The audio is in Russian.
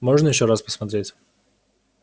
можно ещё раз посмотреть